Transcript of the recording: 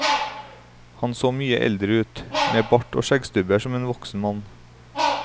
Han så mye eldre ut, med bart og skjeggstubber som en voksen mann.